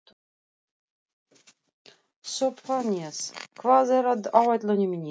Sophanías, hvað er á áætluninni minni í dag?